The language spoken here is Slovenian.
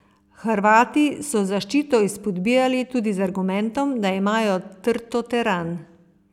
Hrvati so zaščito izpodbijali tudi z argumentom, da imajo trto teran.